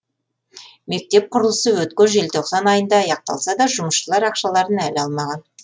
мектеп құрылысы өткен желтоқсан айында аяқталса да жұмысшылар ақшаларын әлі алмаған